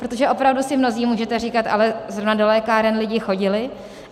Protože opravdu si mnozí můžete říkat: ale zrovna do lékáren lidi chodili.